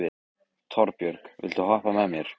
Torbjörg, viltu hoppa með mér?